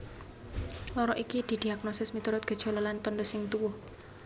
Lara iki didiagnosis miturut gejala lan tandha sing tuwuh